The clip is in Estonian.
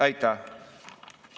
Aitäh!